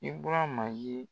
IBURAMA ye.